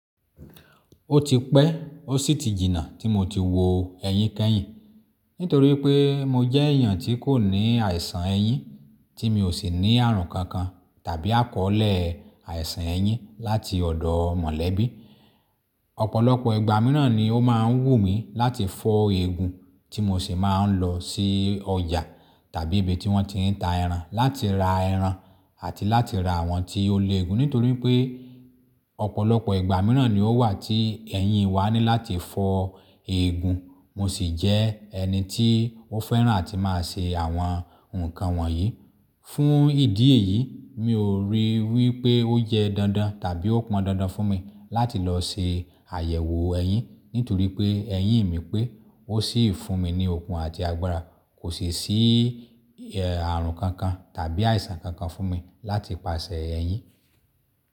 Ó ti pẹ́ ó sì ti jìnnà tí mo ti wò ẹyin kẹ́yìn nítorí pé mo jẹ́ èèyàn tí kò ní àìsàn ẹyin tí mi ò sì ní ààrùn kankan tàbí àkọ́ọ̀lẹ̀ àìsàn ẹyin láti ọ̀dọ̀ mọ̀lẹ́bí. Ọ̀pọ̀lọpọ̀ ìgbà mìíràn ni ó máa ń wù mí láti fọ́ eegun tí mo sì máa ń lọ sí ọjà tàbí ibi tí wọ́n ti ń ta ẹran láti ra ẹran àti láti ra àwọn ti olẹ́ eegun nítorí pé ọ̀pọ̀lọpọ̀ ìgbà mìíràn ni ó wà tí ẹyin wa ní láti fọ́ eegun. Mo sì jẹ́ ẹni tí ó fẹ́ràn àti máa ṣe àwọn nǹkan wọ̀nyí. Fún ìdí èyí, mi ò ríi wí pé ó yẹ dandan tàbí ó pọn dandan fún mi láti lọ se àyẹ̀wò ẹyin nítorí pé ẹyin mi pé ó sì fún mi ní okun àti agbára kò sì sí ààrùn kankan tàbí àìsàn kankan fún mi láti pàṣẹ ẹyin.